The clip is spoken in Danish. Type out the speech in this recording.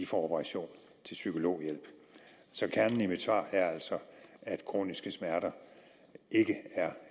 fra operation til psykologhjælp kernen i mit svar er altså at kroniske smerter ikke er